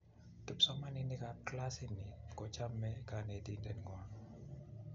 kipsomaninik kab klasini ko chome konetinte ngwak